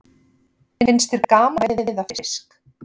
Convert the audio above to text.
Finnst þér gaman að veiða fisk?